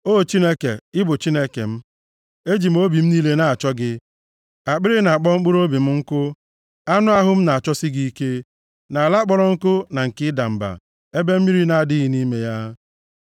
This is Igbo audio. O Chineke, ị bụ Chineke m, e ji m obi m niile na-achọ gị; akpịrị na-akpọ mkpụrụobi m nkụ, anụ ahụ m na-achọsi gị ike, nʼala kpọrọ nkụ na nke ịda mba ebe mmiri na-adịghị nʼime ya.